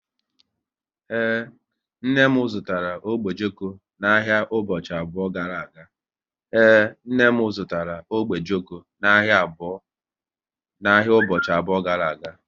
Ee, nne m zụtara ogbe ojoko n'ahịa ụbọchị abụọ gara aga